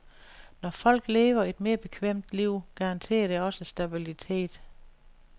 Når folk lever et mere bekvemt liv, garanterer det også stabilitet.